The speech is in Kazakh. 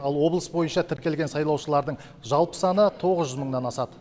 ал облыс бойынша тіркелген сайлаушылардың жалпы саны тоғыз жүз мыңнан асады